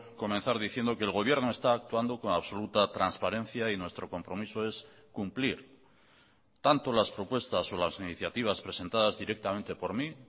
comenzar diciendo que el gobierno está actuando con absoluta transparencia y nuestro compromiso es cumplir tanto las propuestas o las iniciativas presentadas directamente por mí